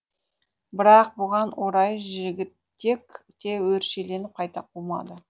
бірақ бұған орай жігітек те өршеленіп қайта қумады